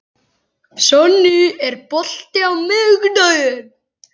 Sonný, er bolti á miðvikudaginn?